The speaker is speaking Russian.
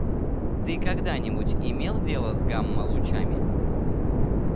ты когда-нибудь имел дело с гамма-лучами